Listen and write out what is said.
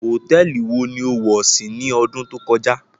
Hotẹẹli wó ni ó wọ si ni ọdun to kọja?